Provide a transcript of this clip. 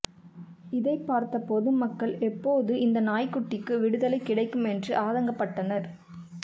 இதைப்பார்த்த பொதுமக்கள் எப்போது இந்த நாய்க்குட்டிக்கு விடுதலை கிடைக்கும் என்று ஆதங்கப்பட்டனர்